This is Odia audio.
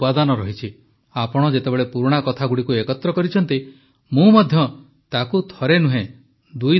ଆପଣ ଯେତେବେଳେ ପୁରୁଣା କଥାଗୁଡ଼ିକୁ ଏକତ୍ର କରିଛନ୍ତି ମୁଁ ମଧ୍ୟ ତାକୁ ଥରେ ନୁହେଁ ଦୁଇଥର ପଢ଼ିଲି